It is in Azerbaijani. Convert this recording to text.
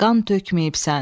Qan tökməyibsən.